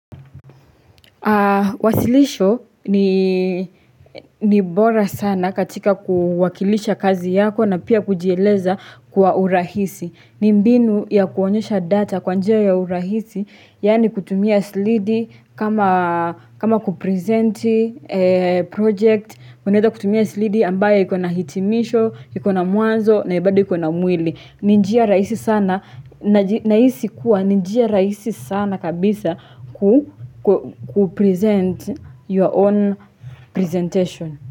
Wasilisho ni bora sana katika kuwakilisha kazi yako na pia kujieleza kwa urahisi ni mbinu ya kuonyesha data kwa njia ya urahisi Yaani kutumia slidi kama kupresenti project mnaeza kutumia slidi ambaye ikona hitimisho, ikona mwanzo na bado iko na mwili ni njia rahisi sana, nahisi kuwa ni njia rahisi sana kabisa kupresent your own presentation.